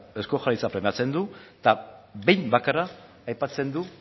eusko jaurlaritza aipatzen du eta behin bakarrik aipatzen du